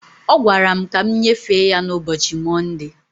Ọ gwara m ka m nyefee ya na ụbọchi Mọnde